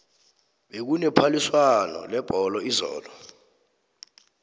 bekune phaliswano lebholo izolo